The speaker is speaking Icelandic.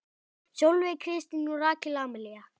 Sólveig Kristín og Rakel Amelía.